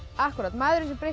maðurinn sem breytti